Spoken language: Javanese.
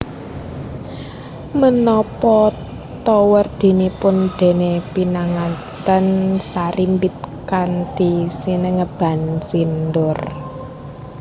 Menapa ta werdinipun dene pinanganten sarimbit kanthi sinengeban sindur